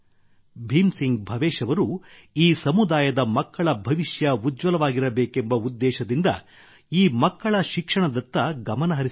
ಭೀಮ್ ಸಿಂಗ್ ಭವೇಶ್ ಅವರು ಈ ಸಮುದಾಯದ ಮಕ್ಕಳ ಭವಿಷ್ಯ ಉಜ್ವಲವಾಗಿರಬೇಕೆಂಬ ಉದ್ದೇಶದಿಂದ ಈ ಮಕ್ಕಳ ಶಿಕ್ಷಣದತ್ತ ಗಮನಹರಿಸಿದ್ದಾರೆ